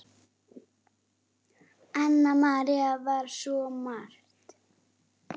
Anna María var svo margt.